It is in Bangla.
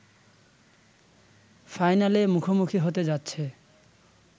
ফাইনালে মুখোমুখি হতে যাচ্ছে